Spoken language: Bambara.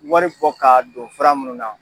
Wari bɔ ka don fura munnu na.